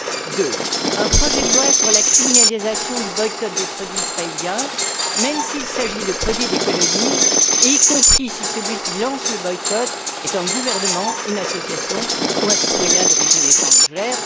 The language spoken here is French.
Deuxièmement, un projet de loi sur la criminalisation du boycott des produits israéliens, même s'il s'agit de produits des colonies, y compris si celui qui lance le boycott est un gouvernement, une association ou un citoyen d'origine étrangère.